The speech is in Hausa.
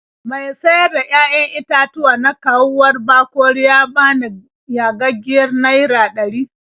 Mai sayar da 'ya'yan itatuwa na kauwar Bakori ya bani yagaggiyar naira ɗari.